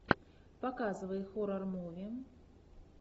показывай хоррор муви